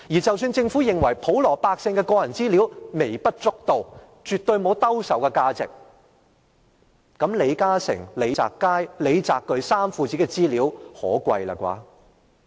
即使政府認為普羅百姓的個人資料不重要，沒有兜售價值，那麼李嘉誠、李澤楷和李澤鉅父子的資料夠可貴吧？